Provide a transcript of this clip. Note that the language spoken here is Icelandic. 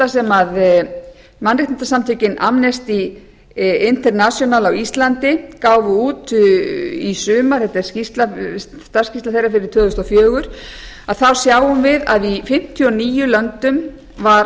sem mannréttindasamtökin amnesty international á íslandi gáfu út í sumar þetta er starfsskýrsla þeirra fyrir tvö þúsund og fjögur þá sjáum við að í fimmtíu og níu löndum var